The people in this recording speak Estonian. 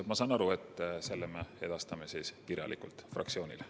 Ma sain aru nii, et selle vastuse me edastame kirjalikult fraktsioonile.